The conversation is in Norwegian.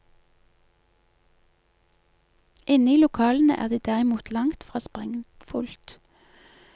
Inne i lokalene er det derimot langt fra sprengfullt.